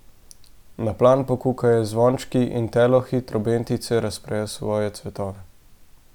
Na plan pokukajo zvončki in telohi, trobentice razprejo svoje cvetove.